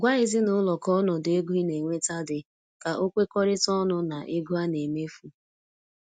Gwa ezinụlọ ka ọnọdụ ego ina enweta di ka o kwekọrịta ọnụ na ego ana emefu